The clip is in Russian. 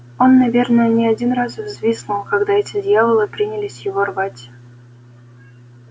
он наверное не один раз взвизгнул когда эти дьяволы принялись его рвать